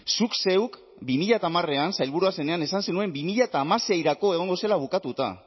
zuk zeuk bi mila hamarean sailburua zenean esan zenuen bi mila hamaseirako egongo zela bukatuta